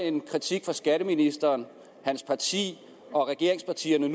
en kritik fra skatteministeren hans parti og regeringspartierne